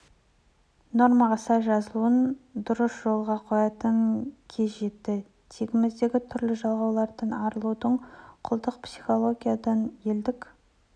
нормаға сай жазылуын дұрыс жолға қоятын кез жетті тегіміздегі түрлі жалғаудан арылуды құлдық психологиядан елдік